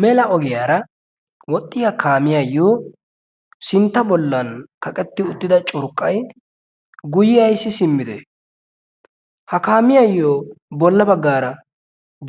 mela ogiyaara woxxiyaa kaamiyaayo sinttara baggan kaqqeti uttida curqqay guyye ayssi simmide? ha kaamiyayo bolla baggara